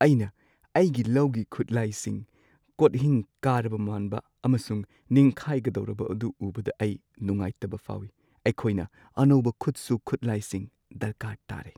ꯑꯩꯅ ꯑꯩꯒꯤ ꯂꯧꯒꯤ ꯈꯨꯠꯂꯥꯏꯁꯤꯡ, ꯀꯣꯠꯍꯤꯡ ꯀꯥꯔꯕ ꯃꯥꯟꯕ ꯑꯃꯁꯨꯡ ꯅꯤꯡꯈꯥꯢꯒꯗꯧꯔꯕ ꯑꯗꯨ ꯎꯕꯗ ꯑꯩ ꯅꯨꯡꯉꯥꯢꯇꯕ ꯐꯥꯎꯏ꯫ ꯑꯩꯈꯣꯏꯅ ꯑꯅꯧꯕ ꯈꯨꯠꯁꯨ ꯈꯨꯠꯂꯥꯏꯁꯤꯡ ꯗꯔꯀꯥꯔ ꯇꯥꯔꯦ꯫